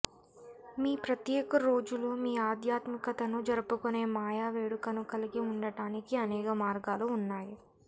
మీ ప్రత్యేక రోజులో మీ ఆధ్యాత్మికతను జరుపుకునే మాయా వేడుకను కలిగి ఉండటానికి అనేక మార్గాలు ఉన్నాయి